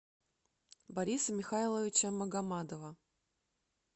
бориса михайловича магомадова